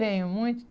Venho muito.